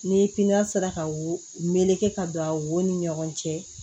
Ni sera ka wo meleke ka don a wo ni ɲɔgɔn cɛ